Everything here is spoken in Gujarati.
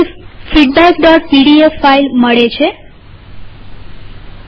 આપણને ફીડબેકપીડીએફ ફાઈલ મળેછે